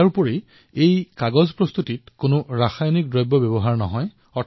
তাৰোপৰি ইয়াক প্ৰস্তুত কৰাৰ সময়ত কোনো ৰসায়নৰো ব্যৱহাৰ নহয়